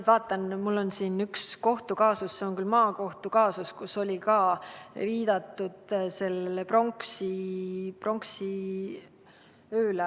Ma vaatan, et mul on siin üks kohtukaasus, see on küll maakohtu kaasus, aga selles on viidatud pronksiööle.